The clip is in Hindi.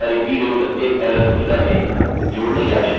कुछ फील्ड्स यहाँ टाइप करते हैं